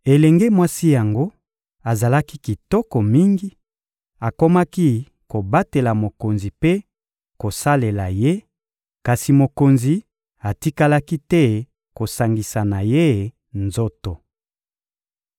Elenge mwasi yango azalaki kitoko mingi, akomaki kobatela mokonzi mpe kosalela ye; kasi mokonzi atikalaki te kosangisa na ye nzoto.